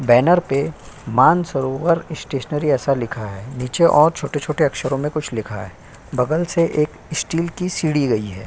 Banner पे Mansarovar stationery ऐसा लिखा है। नीचे और छोटे-छोटे अक्षरों मे कुछ लिखा है। बगल से एक स्टील की सीढ़ी गई है।